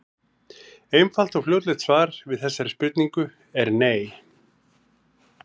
Einfalt og fljótlegt svar við þessari spurningu er nei.